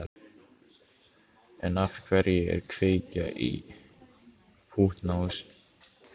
En af hverju að kveikja í pútnahúsi?